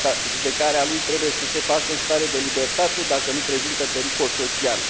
Judecarea lui trebuie să se facă în stare de libertate, dacă nu prezintă pericol social.